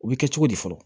U bɛ kɛ cogo di fɔlɔ